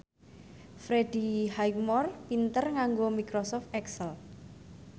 Freddie Highmore pinter nganggo microsoft excel